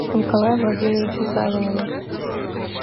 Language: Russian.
николае владимировиче савинове